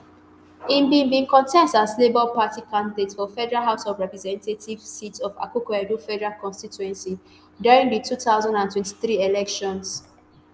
im bin bin contest as labour party candidate for federal house of representatives seat of akokoedo federal constituency during di two thousand and twenty-three elections